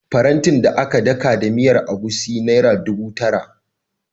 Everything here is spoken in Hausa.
Farantin da aka daka da miyar egusi naira dubu tara.